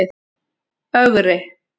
Ögri